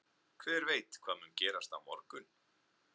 Hver veit hvað mun gerast á morgun?